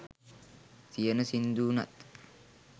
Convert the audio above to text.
තියෙන සිංදු වුනත්